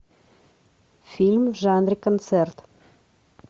фильм в жанре концерт